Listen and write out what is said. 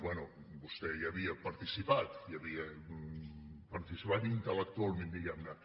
bé vostè hi havia participat hi havia participat intel·lectualment diguem ne